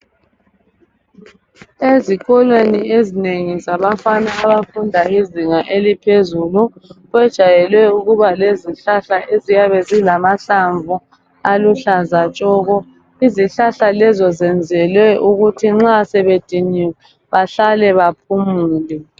Ezikolweni ezinengi zabafana abafunda izinga eliphezulu kwejayele ukuba lezihlahla eziyabe zilamahlamvu aluhlaza tshoko izihlahla lezo zenzelwe ukuthi nxa sebediniwe bahlale baphumule.